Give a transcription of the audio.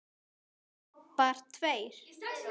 Bobbar tveir.